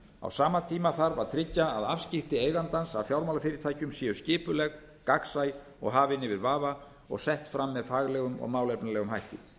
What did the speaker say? á sama tíma þarf að tryggja að afskipti eigandans að fjármálafyrirtækjum séu skipuleg gagnsæ og hafin yfir vafa og sett fram með faglegum og málefnalegum hætti